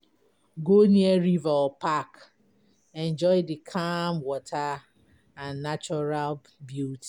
Go near river or park, enjoy the calm water and natural beauty.